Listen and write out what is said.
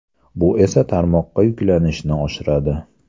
Bu esa tarmoqqa yuklanishni oshiradi.